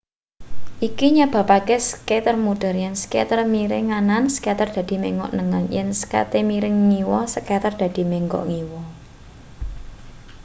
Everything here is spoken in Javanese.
iki nyebabake skater muter yen skate miring nganan skater dadi menggok nengen yen skate miring ngiwa skater dadi menggok ngiwa